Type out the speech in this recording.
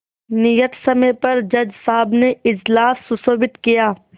नियत समय पर जज साहब ने इजलास सुशोभित किया